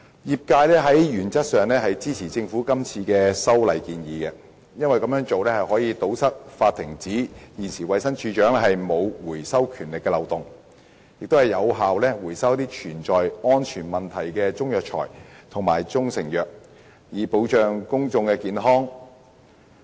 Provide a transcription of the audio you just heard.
業界原則上支持政府今次的修訂建議，因為這樣做可以堵塞現行法例上衞生署署長沒有權力發出回收指令的漏洞，令一些有安全問題的中藥材或中成藥得以有效回收，以保障公眾健康。